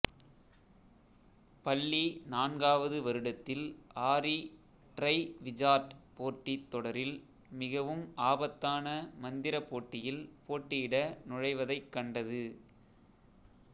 பள்ளி நான்காவது வருடத்தில் ஆரி ட்ரைவிஜார்ட் போட்டித்தொடரில் மிகவும் ஆபத்தான மந்திர போட்டியில் போட்டியிட நுழைவதைக் கண்டது